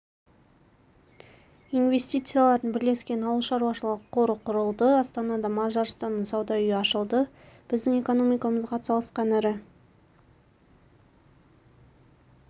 инвестициялардың бірлескен ауыл шаруашылығы қоры құрылды астанада мажарстанның сауда үйі ашылды біздің экономикамызға атсалысқан ірі